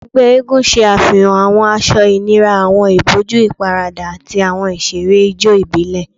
Awọn ẹgbẹ eégún ṣe afihan awọn aṣọ inira, awọn iboju iparada, ati awọn iṣere ijó ibile